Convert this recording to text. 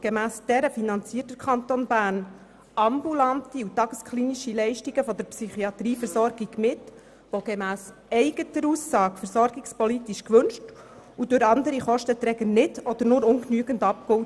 Gemäss der Versorgungsplanung finanziert der Kanton Bern ambulante und tagesklinische Leistungen der Psychiatrieversorgung mit, und diese sind gemäss eigener Aussage versorgungspolitisch gewünscht und durch andere Kostenträger nicht oder nur ungenügend abgegolten.